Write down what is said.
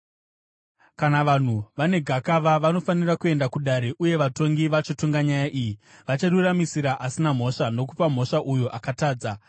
Kana vanhu vane gakava, vanofanira kuenda kudare uye vatongi vachatonga nyaya iyi, vachiruramisira asina mhosva nokupa mhosva uyo akatadza.